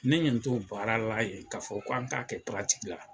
Ne nɛ t'o baara la yen k'an t'a fɔ k'an t'a kɛ paratiki la.